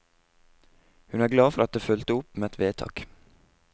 Hun er glad for at det fulgte opp med vedtak.